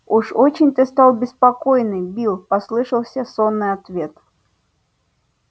уж очень ты стал беспокойный билл послышался сонный ответ